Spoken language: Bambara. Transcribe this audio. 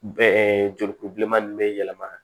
jolikuru bileman ninnu bɛ yɛlɛma